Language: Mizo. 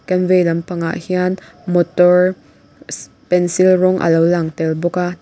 kan vei lampangah hian motor shh pencil rawng a lo lang tel bawk a tin--